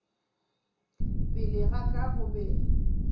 pele ga ka go be